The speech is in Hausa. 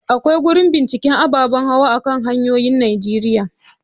Akwai gurin binciken ababen hawa a kan hanyoyin Najeriya.